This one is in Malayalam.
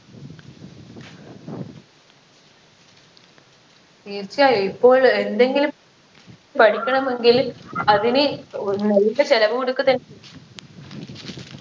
തീർച്ചയായും ഇപ്പോൾ എന്തെങ്കിലും പഠിക്കണമെങ്കിൽ അതിന് ഒരു നല്ല ചിലവ്